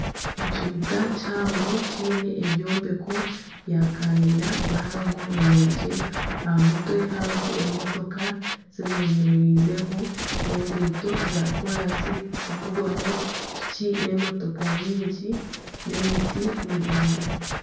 Ekibuga kihango kiine ebyombeko bya kanyina bihango birungi aha mutwe hariho emotoka zibemerizeho enguuto za koransi harikuvugwaho piki nana emotoka nyingi n'emiti miraingwa.